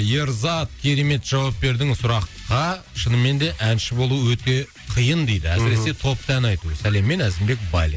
ерзат керемет жауап бердің сұраққа шынымен де әнші болу өте қиын дейді мхм әсіресе топта ән айту сәлеммен әзімбек байлин